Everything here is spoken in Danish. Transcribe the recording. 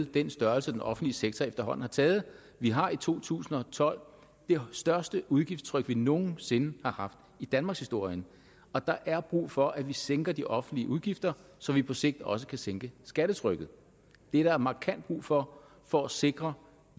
den størrelse den offentlige sektor efterhånden har taget vi har i to tusind og tolv det største udgiftstryk vi nogen sinde har haft i danmarkshistorien og der er brug for at vi sænker de offentlige udgifter så vi på sigt også kan sænke skattetrykket det er der markant brug for for at sikre